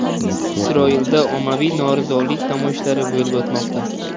Isroilda ommaviy norozilik namoyishlari bo‘lib o‘tmoqda.